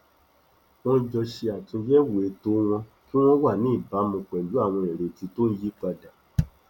wọn jọ ṣe àtúnyẹwò ètò wọn kí wọn wà ní ìbámu pẹlú àwọn ìrètí tó ń yípadà